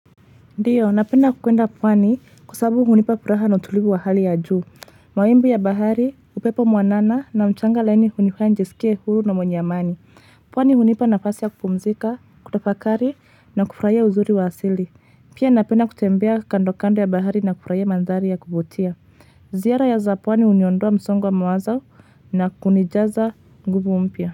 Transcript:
Ndiyo, napenda kwenda pwani kwa sabu hunipa furaha na utulivu wa hali ya juu. Mawimbi ya bahari, upepo mwanana na mchanga laini hunifanya njisikie huru na mwenye amani. Pwani hunipa nafasi ya kupumzika, kutafakari na kufurahia uzuri wa asili. Pia napenda kutembea kando kando ya bahari na kufuraia manthari ya kuvutia. Ziara ya za pwani uniondoa msongo wa mawazo na kunijaza nguvu mpia.